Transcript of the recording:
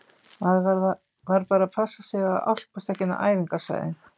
Maður varð bara að passa sig á að álpast ekki inn á æfingasvæðin.